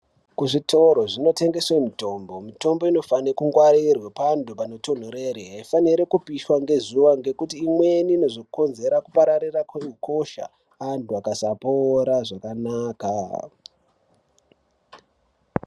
Kuzvitoro zvinotengeswe mitombo, mitombo inofane kungwarirwa panthu panotonhorere. Hayifaniri kupiswa ngezuva ngekuti imweni inozvokonzera kupararira kwehukosha antu vakasapora zvakanaka.